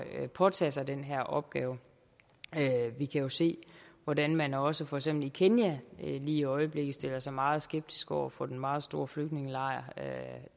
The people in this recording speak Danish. at påtage sig den her opgave vi kan jo se hvordan man også i for eksempel kenya i øjeblikket stiller sig meget skeptisk over for den meget store flygtningelejr